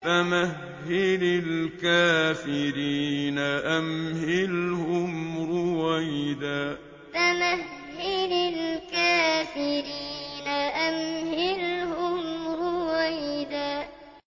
فَمَهِّلِ الْكَافِرِينَ أَمْهِلْهُمْ رُوَيْدًا فَمَهِّلِ الْكَافِرِينَ أَمْهِلْهُمْ رُوَيْدًا